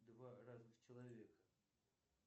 два разных человека